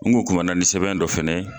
N bo kɔnɔna ni sɛbɛn dɔ fɛnɛ ye.